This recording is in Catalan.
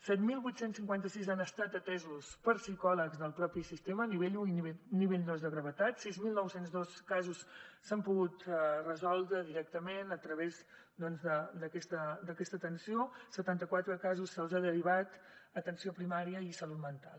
set mil vuit cents i cinquanta sis han estat atesos per psicòlegs del mateix sistema nivell un i nivell dos de gravetat sis mil nou cents i dos casos s’han pogut resoldre directament a través d’aquesta atenció a setanta quatre casos se’ls ha derivat a atenció primària i salut mental